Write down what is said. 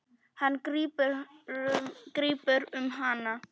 Hann grípur um hana.